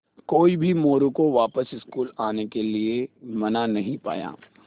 कोई भी मोरू को वापस स्कूल आने के लिये मना नहीं पाया